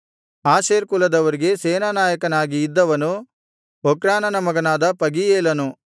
Asher ಕುಲದವರಿಗೆ ಸೇನಾನಾಯಕನಾಗಿ ಇದ್ದವನು ಒಕ್ರಾನನ ಮಗನಾದ ಪಗೀಯೇಲನು